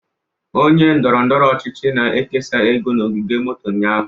Onye ndọrọ ndọrọ ọchịchị na-ekesa ego na ogige moto ụnyaahụ